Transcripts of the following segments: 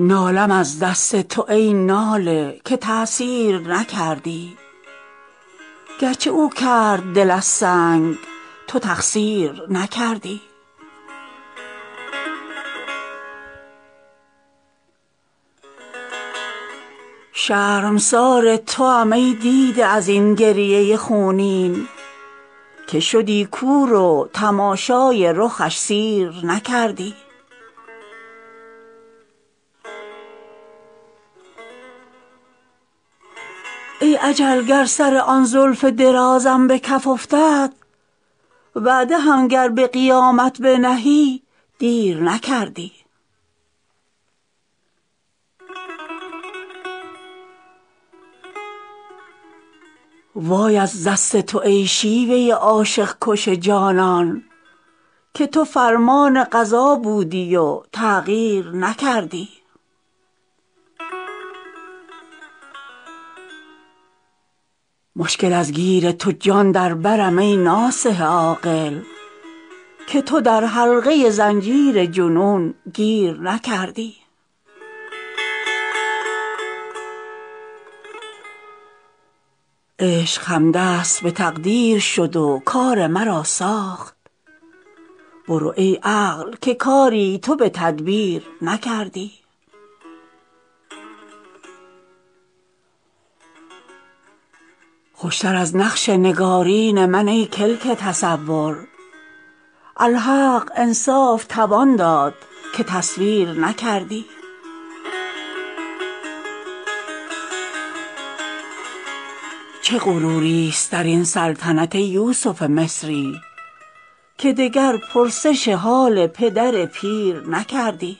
نالم از دست تو ای ناله که تاثیر نکردی گرچه او کرد دل از سنگ تو تقصیر نکردی شرمسار توام ای دیده ازین گریه خونین که شدی کور و تماشای رخش سیر نکردی ای اجل گر سر آن زلف درازم به کف افتد وعده هم گر به قیامت بنهی دیر نکردی وای از دست تو ای شیوه عاشق کش جانان که تو فرمان قضا بودی و تغییر نکردی مشکل از گیر تو جان در برم ای ناصح عاقل که تو در حلقه زنجیر جنون گیر نکردی عشق همدست به تقدیر شد و کار مرا ساخت برو ای عقل که کاری تو به تدبیر نکردی خوشتر از نقش نگارین من ای کلک تصور الحق انصاف توان داد که تصویر نکردی چه غروریست در این سلطنت ای یوسف مصری که دگر پرسش حال پدر پیر نکردی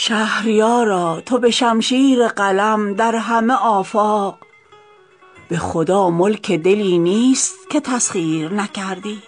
شهریارا تو به شمشیر قلم در همه آفاق به خدا ملک دلی نیست که تسخیر نکردی